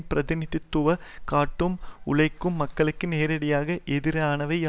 பிரதிநிதித்துவ படுத்துவதாக காட்டும் உழைக்கும் மக்களுக்கு நேரடியாக எதிரானவையா